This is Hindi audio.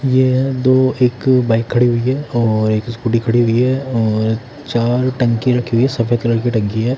ये दो एक बाइक खड़ी हुई है और एक स्कूटी खड़ी हुई है और चार टंकी रखी हुई है सफेद कलर की टंकी है।